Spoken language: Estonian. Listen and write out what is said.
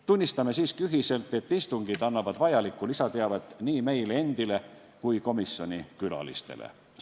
Tunnistame siiski ühiselt, et istungid annavad vajalikku lisateavet nii meile endile kui ka komisjoni külalistele.